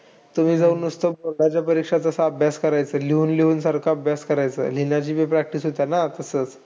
तुम्ही जाऊन नुसतं स्वतःच्या परीक्षेचा अभ्यास करायचा. लिहून-लिहून सारखा अभ्यास करायचा. लिहण्याची पण practise होते ना तसंच.